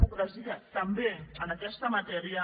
pocresia també en aquesta matèria